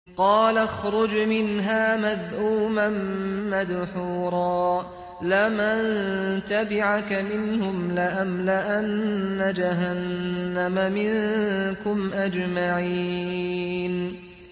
قَالَ اخْرُجْ مِنْهَا مَذْءُومًا مَّدْحُورًا ۖ لَّمَن تَبِعَكَ مِنْهُمْ لَأَمْلَأَنَّ جَهَنَّمَ مِنكُمْ أَجْمَعِينَ